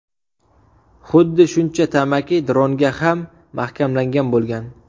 Xuddi shuncha tamaki dronga ham mahkamlangan bo‘lgan.